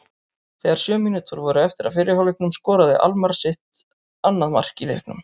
Þegar sjö mínútur voru eftir af fyrri hálfleiknum skoraði Almarr sitt annað mark í leiknum.